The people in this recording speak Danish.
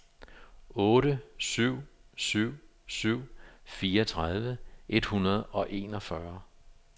otte syv syv syv fireogtredive et hundrede og enogfyrre